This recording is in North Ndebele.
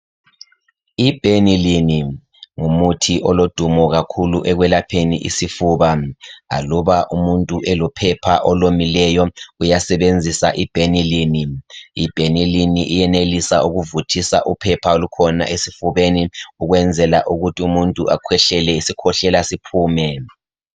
i Benylin ngumuthi olodumo kakhulu ekwelapheni isifuba loba umuntu elophepha olomileyo uyasebenzisa i Benylin i benylin iyenelisa ukuvuthisa uphepha olukhona esifubeni ukwenzela ukuthi umuntu akwehlele isikwehlela siphume